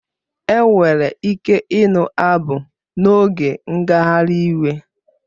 Enwere ike ịnụ abụ n'oge ngagharị iwe